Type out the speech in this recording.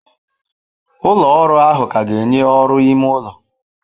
Ụlọ ọrụ ahụ ka ga-enye ọrụ ime ụlọ.